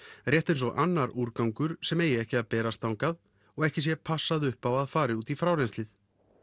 rétt eins og annar úrgangur sem eigi ekki að berast þangað og ekki sé passað upp á að fari út í frárennsli